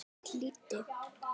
Ég hlýddi.